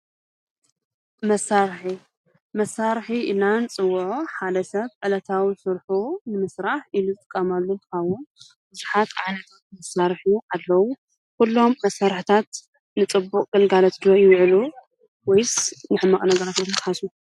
መሳርሒ፣ መሣርሒ ኢልና ንጽዉዖ ሓደ ሰብ ዕለታዊ ስርሑ ንምስራሕ ኢሉ ዝጥቃማሉ እንትዉን ብዙሓት ዓይነታት መሳርሒ ኣለዉ። ኲሎም መሳርሕታት ንፅቡቕ ገልጋለት ዶ ይውዕሉ ወይስ ንሕማቕ ነጋራት ኢልኩም ትሓስቡ?